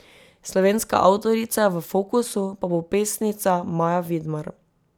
Slovenska avtorica v fokusu pa bo pesnica Maja Vidmar.